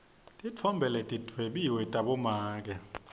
titfombe letidwebiwe tabomake